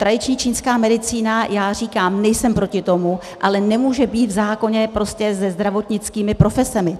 Tradiční čínská medicína, já říkám, nejsem proti tomu, ale nemůže být v zákoně prostě se zdravotnickými profesemi.